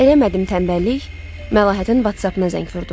Eləmədim tənbəllik, Məlahətin WhatsApp-ına zəng vurdum.